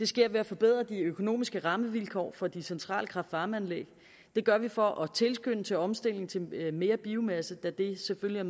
sker ved at forbedre de økonomiske rammevilkår for de centrale kraft varme anlæg det gør vi for at tilskynde til omstilling til mere biomasse da det selvfølgelig